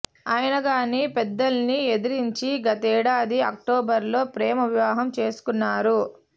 అయినా గాని పెద్దల్ని ఎదిరించి గతేడాది అక్టోబర్లో ప్రేమ వివాహం చేసుకున్నారు